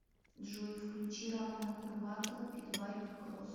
джой включи романа курбатова питбайк кросс